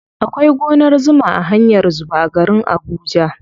Akwai gonar zuma a hanyar zuba a garin abuja.